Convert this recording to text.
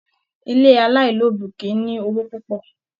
Ilé alailobi kìí ní owó púpọ̀.